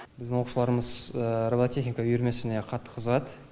біздің оқушыларымыз робототехника үйірмесіне қатты қызығады